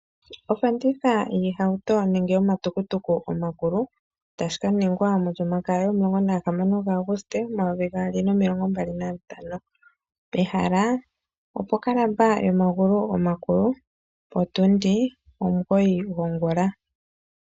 Ofanditha yiihauto nenge yomatukutuku omakulu tayi ka ningwa mOlyomakaya yomasiku omulongo naga hamano ga Aguste omayovi gaali nomilongo mbali nantano . Ehala opo kalaba yomagulu omakulu otundi omugoyi gongula.